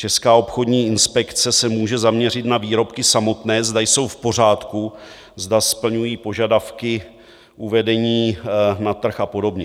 Česká obchodní inspekce se může zaměřit na výrobky samotné, zda jsou v pořádku, zda splňují požadavky uvedení na trh a podobně.